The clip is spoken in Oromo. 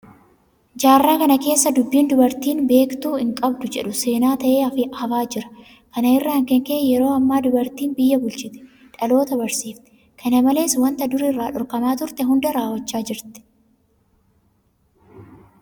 Jaarraa kana keessa dubbiin dubartiin beektuu hinqabdu jedhu seenaa ta'ee hafaa jira. Kana irraa kan ka'e yeroo ammaa dubartiin biyya bulchiti. dhaalota barsiifti. Kana malees waanta dur irraa dhorkamaa turte hunda raawwachaa jirti.